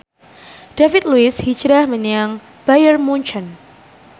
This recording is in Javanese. David Luiz hijrah menyang Bayern Munchen